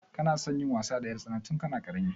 Kana son yin wasa da 'yartsana tun kana ƙarami?